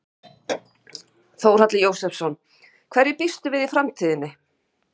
Þórhallur Jósefsson: Hverju býstu við í framtíðinni?